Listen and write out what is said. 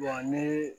ni